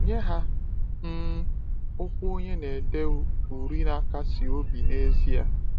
Nye ha, um okwu onye na-ede uri na-akasi obi n’ezie.